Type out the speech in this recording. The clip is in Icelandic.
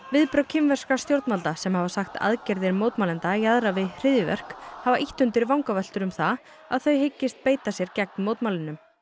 viðbrögð kínverskra stjórnvalda sem hafa sagt aðgerðir mótmælenda jaðra við hryðjuverk hafa ýtt undir vangaveltur um að þau hyggist beita sér gegn mótmælunum